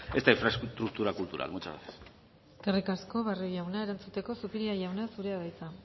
esta infraestructura cultural muchas gracias eskerrik asko barrio jauna erantzuteko zupiria jauna zurea da hitza